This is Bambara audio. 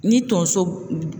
Ni tonso